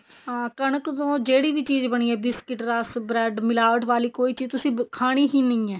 ਹਾਂ ਕਣਕ ਤੋਂ ਜਿਹੜੀ ਵੀ ਚੀਜ਼ ਬਣੀ ਹੈ ਰਸ bread ਮਿਲਾਵਟ ਵਾਲੀ ਕੋਈ ਚੀਜ਼ ਤੁਸੀਂ ਖਾਣੀ ਹੀ ਨਹੀਂ ਹੈ